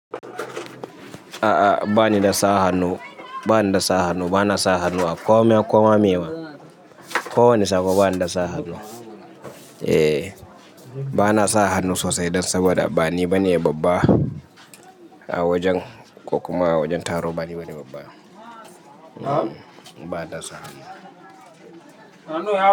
A'a bani da sa hannu, bani da sa hannu. Ba na sa hannu a komai komai, me ma. Ko wani sabo bani da sa hannu. Eh, ba na sa hannu sosai dan saboda bani bane babba a wajen, ko kuma a wajen taro bani bane babba. Hm, ba na sa hannu.